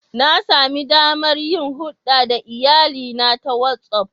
Na sami damar yin hulɗa da iyalina ta WhatsAff.